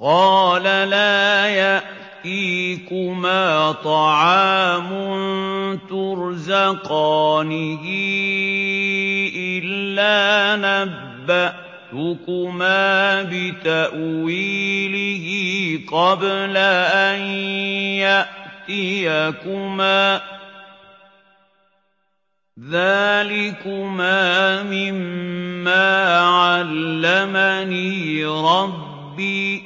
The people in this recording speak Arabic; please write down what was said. قَالَ لَا يَأْتِيكُمَا طَعَامٌ تُرْزَقَانِهِ إِلَّا نَبَّأْتُكُمَا بِتَأْوِيلِهِ قَبْلَ أَن يَأْتِيَكُمَا ۚ ذَٰلِكُمَا مِمَّا عَلَّمَنِي رَبِّي ۚ